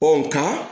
Ɔ nga